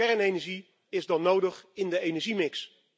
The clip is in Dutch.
Kernenergie is dan nodig in de energiemix.